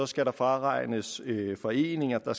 skal der fraregnes foreninger